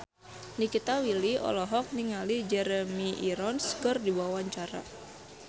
Nikita Willy olohok ningali Jeremy Irons keur diwawancara